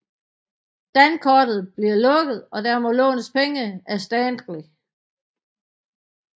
Dankortet bliver lukket og der må lånes penge af Stanley